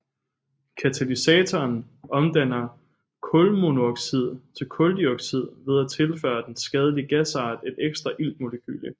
Katalysatoren omdanner kulmonooxid til kuldioxid ved at tilføre den skadelige gasart et ekstra iltmolekyle